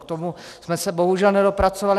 K tomu jsme se bohužel nedopracovali.